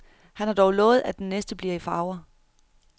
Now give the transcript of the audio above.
Han har dog lovet, at den næste bliver i farver.